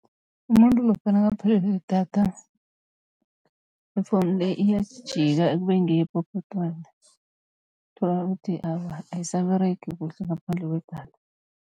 Umuntu lokha nakaphelelwe lidatha ifowunu le iyejika kube ngeyepopotwana, uthola uthi awa ayisaberegi kuhle ngaphandle kwedatha.